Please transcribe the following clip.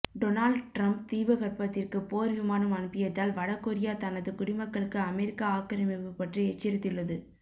Donald Trump தீபகற்பத்திற்கு போர் விமானம் அனுப்பியதால் வட கொரியா தனது குடிமக்களுக்கு அமெரிக்கா ஆக்கிரமிப்பு பற்றி எச்சரித்துள்ளது